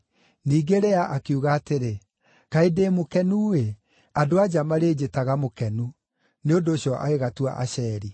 Ningĩ Lea akiuga atĩrĩ, “Kaĩ ndĩ mũkenu-ĩ! Andũ-a-nja marĩnjĩtaga ‘mũkenu.’ ” Nĩ ũndũ ũcio agĩgatua Asheri.